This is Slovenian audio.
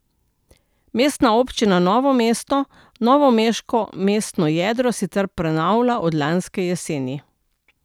Mestna občina Novo mesto novomeško mestno jedro sicer prenavlja od lanske jeseni.